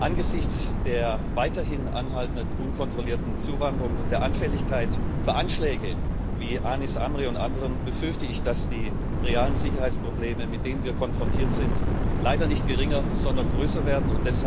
Angesichts der weiterhin anhaltenden unkontrollierten Zuwanderung und der Anfälligkeit für Anschläge wie dem von Anis Amri und anderen befürchte ich, dass die realen Sicherheitsprobleme, mit denen wir konfrontiert sind, leider nicht geringer, sondern größer werden.